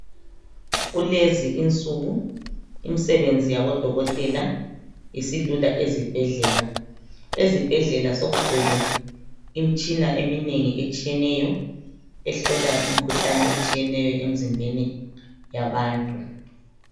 Kulezi insuku imisebenzi yabodokotela isilula ezibhedlela. Ezibhedlela sokugcwele imitshina eminengi etshiyeneyo ehlola imkhuhlane etshiyeneyo emzimbeni yabantu.